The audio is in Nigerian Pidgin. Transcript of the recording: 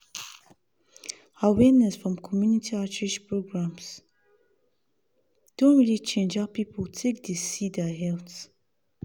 awareness from community outreach programs don really change how people take dey see their health.